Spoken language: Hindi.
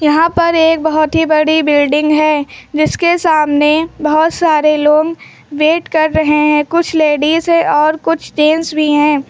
यहां पर एक बहुत ही बड़ी बिल्डिंग है जिसके सामने बहुत सारे लोग वेट कर रहे हैं कुछ लेडिस है और कुछ जेंट्स भी हैं।